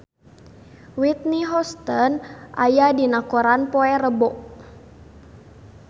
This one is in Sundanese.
Whitney Houston aya dina koran poe Rebo